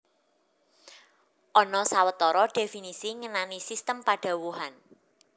Ana sawetara dhéfinisi ngenani sistem padhawuhan